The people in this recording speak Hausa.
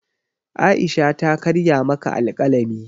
Aisha ta karya maka alkalami